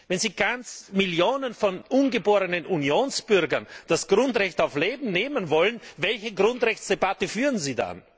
Wenn Sie Millionen von ungeborenen Unionsbürgern das Grundrecht auf Leben nehmen wollen, welche Grundrechtsdebatte führen Sie dann?